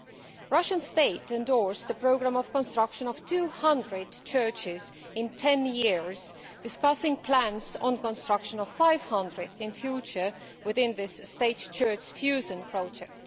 The Russian state has endorsed the programme of construction of 200 churches in 10 years, discussing plans for the construction of 500 in future within this state church fusion project.